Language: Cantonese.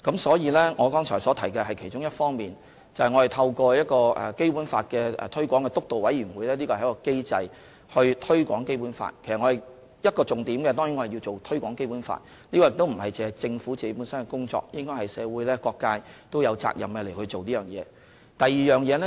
所以，我剛才提及的是其中一方面，便是我們透過基本法推廣督導委員會從機制上推廣《基本法》，一個重點當然是推廣《基本法》，這亦不止是政府的工作，社會各界也應該有責任這樣做。